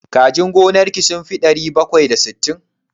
Kajin gonar ki sun fi ɗari bakwai da sittin?